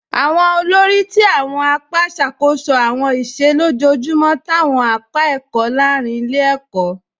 Awọn òlórí ti awọn àpá ṣakoso awọn ìṣẹ̀ lọ́jọjumọ̀ t'awọn àpá ẹkọ̀ lárìn ilẹ̀-ẹ̀kọ̀ náà.